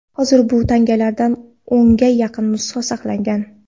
Hozir bu tangalardan o‘nga yaqin nusxa saqlangan.